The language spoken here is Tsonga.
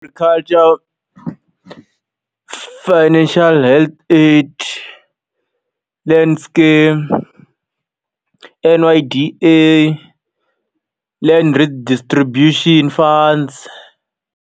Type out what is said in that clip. Culture Financial Health Aid, Land Scheme, N_Y_D_A, Land Redistribution Funds.